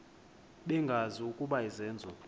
bengazi ukuba izenzo